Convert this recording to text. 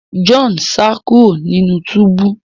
John sa kúrò nínú túbú